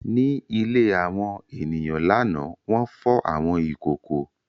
Ní ilé àwọn ènìyàn lánàá, wọ́n fọ àwọn ìkòkò.